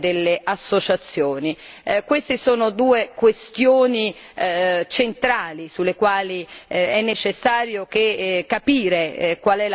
Queste sono due questioni centrali sulle quali è necessario capire qual è la posizione della Commissione.